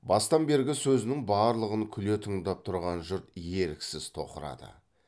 бастан бергі сөзінің барлығын күле тыңдап тұрған жұрт еріксіз тоқырады